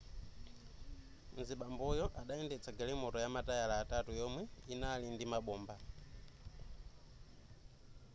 mzibamboyo adayendetsa galimoto yamatayala atatu yomwe yinali ndi mabomba